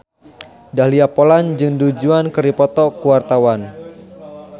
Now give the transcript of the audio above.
Dahlia Poland jeung Du Juan keur dipoto ku wartawan